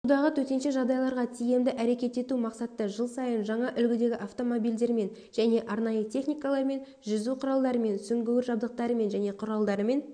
судағы төтенше жағдайларға тиімді әрекет ету мақсатта жыл сайын жаңа үлгідегі автомобилдермен және арнайы техникалармен жүзу құралдарымен сүңгуір жабдықтарымен және құралдарымен